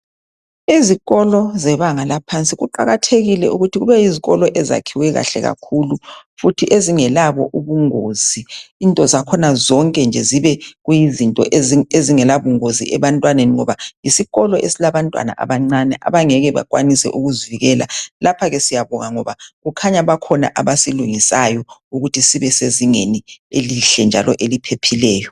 izikolo zebanga laphansi kuqakathekile ukuthi kube yizikolo ezakhiwe kahle kakhulu futhi ezingelabo ubungozi into zakhona zonke nje zibe kuyizinto ezingela bungozi ebantwaneni yisiolo esilabantwana abancane abangeke bakwanise ukuzivikela lapha ke siyabonga ngoba kukhanya bakhona abasilungisayo ukuthi sibe sezingeli elihle njalo eliphephileyo